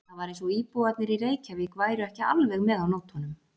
Það var eins og íbúarnir í Reykjavík væru ekki alveg með á nótunum.